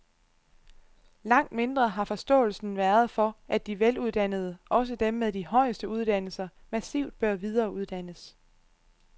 Langt mindre har forståelsen været for, at de veluddannede, også dem med de højeste uddannelser, massivt bør videreuddannes.